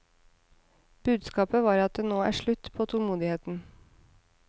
Budskapet var at det nå er slutt på tålmodigheten.